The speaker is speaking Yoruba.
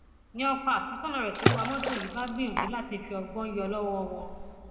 ni ọkọ àfẹsọnà rẹ tó ń wa mọtò yìí bá gbìyànjú láti fi ọgbọn yọ lọwọ wọn